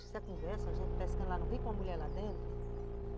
conversa a gente pescando lá no rio com a mulher lá dentro?